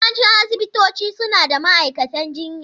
Yawancin asibitoci suna da ma'aikatan jinya.